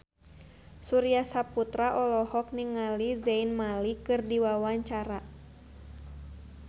Surya Saputra olohok ningali Zayn Malik keur diwawancara